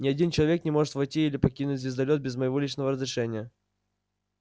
ни один человек не может войти или покинуть звездолёт без моего личного разрешения